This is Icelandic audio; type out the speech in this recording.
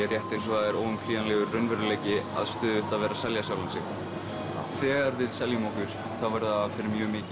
rétt eins og það er óumflýjanlegur raunveruleiki að stöðugt að vera að selja sjálfan sig þegar við seljum okkur þá verður það fyrir mjög mikið